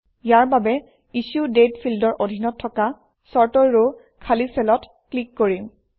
ইয়াৰ বাবে ইছ্যুডেট ফিল্ডৰ অধীনত থকা চৰ্ট ৰ ৰ খালী চেলত ক্লিক কৰিম